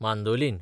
mandolin